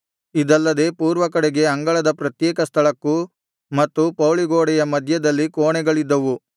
ಇದಲ್ಲದೆ ಪೂರ್ವಕಡೆಗೆ ಅಂಗಳದ ಪ್ರತ್ಯೇಕ ಸ್ಥಳಕ್ಕೂ ಮತ್ತು ಪೌಳಿಗೋಡೆಯ ಮಧ್ಯದಲ್ಲಿ ಕೋಣೆಗಳಿದ್ದವು